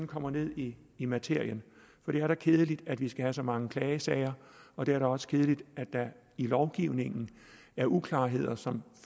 kommer ned i i materien det er da kedeligt at vi skal have så mange klagesager og det er da også kedeligt at der i lovgivningen er uklarheder som